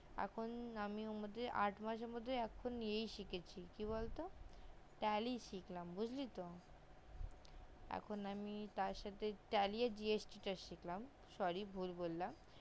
এখন আমি ওর মধ্যে আট মাসের মধ্যে ইয়ে শিখেছি কি বলতো tally শিখলাম বুজলি তো এখন আমি তার সাথে tally আর gst টা শিখলাম sorry ভুল বললাম